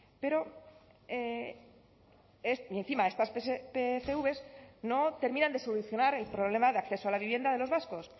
y encima estas pcv no terminan de solucionar el problema de acceso a la vivienda de los vascos